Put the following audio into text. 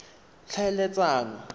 tlhaeletsano